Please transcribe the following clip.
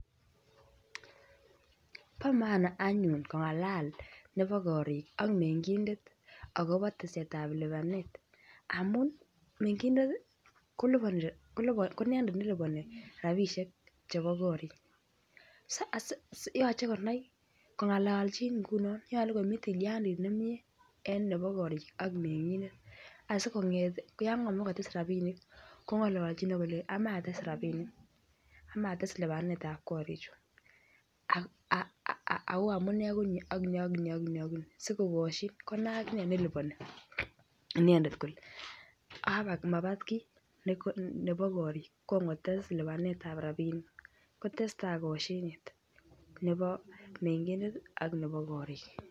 Bo maana anyun kongalal nebo korik ak mengindet akobo teset ab lipanet amun mengindet kiliponi rabisiek ko inendet ne liponi rabisiek chebo korik yoche kongalchin ngunon nyolu komi tilyandit nemie en nebo korik ak mengindet asi konget yon kamach kotes rabinik kongolchi ak kolenji amache ates rabinik amache ates lipanetap korichu ak amune ko ni ak ni sikokosyin konai aginee ne liponi inendet kole abak mabat kii nebo korik kon kotes lipanetap rabinik kotestai kosyinet nebo mengindet ak nebo korik